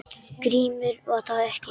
GRÍMUR: Var það ekki!